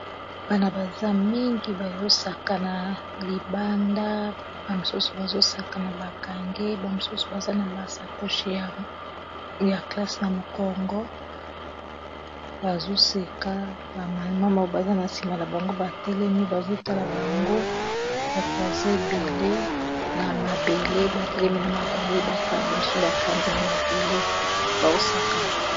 Bana baza mingi bazosaka na libanda ba misusu bazosaka na bakange bamisusu baza na basa koshe ya classe, na mokongo bazoseka bamamama baza na nsima na bango batelemi bazotala bango batwazebele na mabele batelemi na mabale misu bafandi na mabele baosakana.